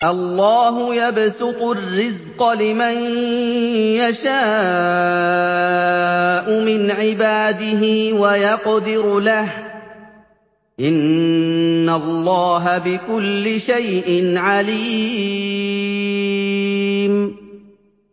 اللَّهُ يَبْسُطُ الرِّزْقَ لِمَن يَشَاءُ مِنْ عِبَادِهِ وَيَقْدِرُ لَهُ ۚ إِنَّ اللَّهَ بِكُلِّ شَيْءٍ عَلِيمٌ